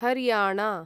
Haryana